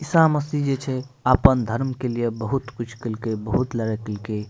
ईशा मसीह जे छे आपन धर्म के लिए बहुत कुछ कैलकै बहुत लड़ाई कैल कई।